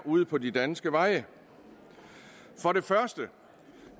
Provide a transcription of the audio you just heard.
ude på de danske veje for det første